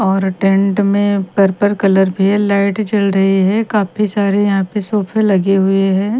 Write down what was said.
और टेंट में purple colour भी है लाइट जल रही है काफी सारे यहां पे सोफे लगे हुए है।